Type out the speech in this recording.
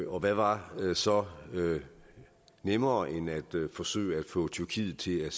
og hvad var så nemmere end at forsøge at få tyrkiet til at